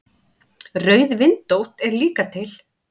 Rauðvindótt er líka til.